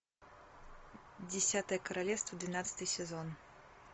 десятое королевство двенадцатый сезон